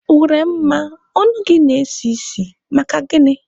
Uremma, ọnụ gị na-esi isi, maka gịnị?